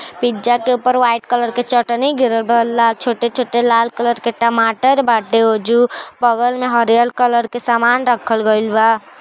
Pizza के ऊपर white colour के चटनी गिरल बा। ला छोटे छोटे लाल कलर के टमाटर बाटे ओजू। बगल में हरियल कलर के सामान रखल गइल बा।